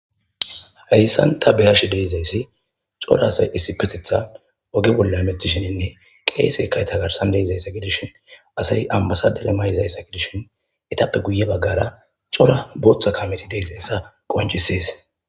Hayssanta beyashi deizayssi cola asay issi petetha oge bolla lethishininne qeese kay tagarsan deizayssa gidishin asay ammasadere mayzayssa gidishin etappe guye baggara cola booththa kameti deezayssa qoncisees.